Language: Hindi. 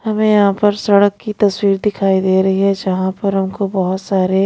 हमें यहां पर सड़क की तस्वीर दिखाई दे रही है जहां पर हमको बहुत सारे--